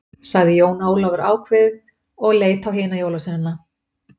Sagði Jón Ólafur áveðið og leit á hina jólasveinana.